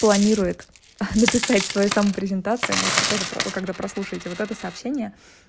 планирует написать своё самопрезентация можете тоже когда прослушайте вот это сообщение